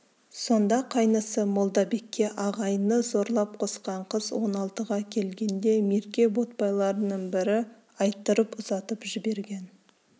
сонда қайнысы молдабекке ағайыны зорлап қосқан қыз он алтыға келгенде мерке ботпайларының бірі айттырып ұзатып жіберген